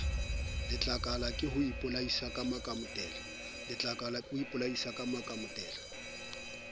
letlakala ke ho ipolaisa makamotela